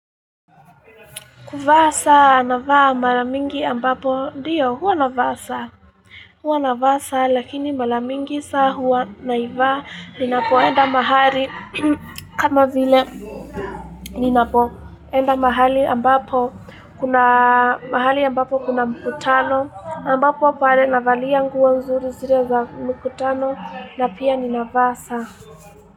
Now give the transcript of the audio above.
Kuvaa, saa navaa maramingi ambapo, ndiyo, huwa navaa saa. Hua navaa saa, lakini mara mingi saa huwa naivaa ninapoenda mahali kama vile. Ninapo, enda mahali ambapo, kuna mahali ambapo kuna mkutano. Ambapo pale, navalia nguo nzuri zile za mkutano, na pia ninavaa saa.